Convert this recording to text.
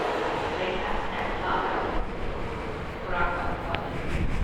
Telesa ne plavajo, korakajo po vodi.